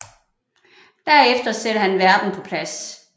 Derefter sætter han verden på plads